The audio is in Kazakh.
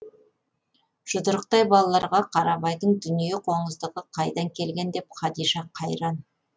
жұдырықтай балаларға қарабайдың дүние қоңыздығы қайдан келген деп қадиша қайран